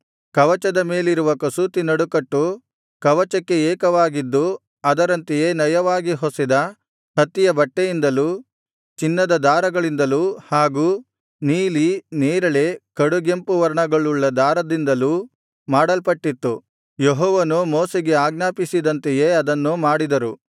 ಕವಚದ ಮೇಲಿರುವ ಕಸೂತಿ ನಡುಕಟ್ಟು ಕವಚಕ್ಕೆ ಏಕವಾಗಿದ್ದು ಅದರಂತೆಯೇ ನಯವಾಗಿ ಹೊಸೆದ ಹತ್ತಿಯ ಬಟ್ಟೆಯಿಂದಲು ಚಿನ್ನದ ದಾರಗಳಿಂದಲು ಹಾಗೂ ನೀಲಿ ನೇರಳೆ ಕಡುಗೆಂಪು ವರ್ಣಗಳುಳ್ಳ ದಾರದಿಂದಲೂ ಮಾಡಲ್ಪಟ್ಟಿತ್ತು ಯೆಹೋವನು ಮೋಶೆಗೆ ಆಜ್ಞಾಪಿಸಿದಂತೆಯೇ ಅದನ್ನು ಮಾಡಿದರು